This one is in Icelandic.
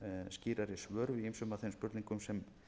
skýrari svör við ýmsum af þeim spurningum sem